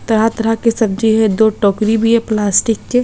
तराह तराह के सब्जी है दो टोकरी भी है प्लास्टिक के।